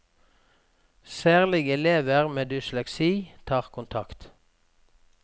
Særlig elever med dysleksi tar kontakt.